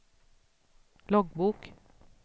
loggbok